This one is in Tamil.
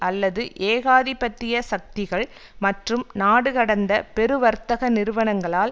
அல்லது ஏகாதிபத்திய சக்திகள் மற்றும் நாடுகடந்த பெருவர்த்தக நிறுவனங்களால்